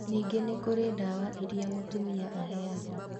Ningĩ nĩ kũrĩ ndawa iria mũtumia aheagwo